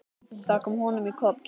Það kom honum í koll.